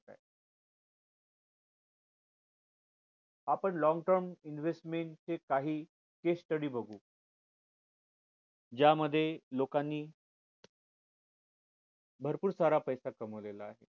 आपण long term investment चे काही case study बघू ज्या मध्ये लोकांनी भरपूर सारा पैसा कमावलेला आहे